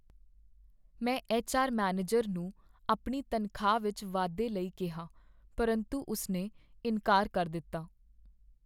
ਮੈਂ H R manager ਨੂੰ ਆਪਣੀ ਤਨਖ਼ਾਹ ਵਿੱਚ ਵਾਧੇ ਲਈ ਕਿਹਾ ਪਰੰਤੂ ਉਸਨੇ ਇਨਕਾਰ ਕਰ ਦਿੱਤਾ।